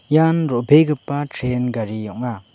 ian ro·begipa tren gari ong·a.